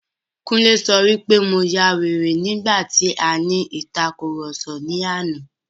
Kúnlé sọ wí pé mo ya wèrè nígbà tí a ní ìtàkurọ̀sọ ní àná.